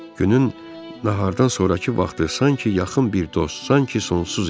Günün nahardan sonrakı vaxtı sanki yaxın bir dost, sanki sonsuz idi.